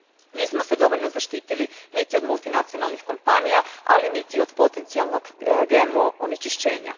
Nismo se dovoljno zaštitili niti od multinacionalnih kompanija, ali niti od potencijalnog GMO onečišćenja.